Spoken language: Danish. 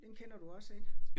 Den kender du også ik